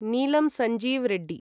Neelam Sanjiva Reddy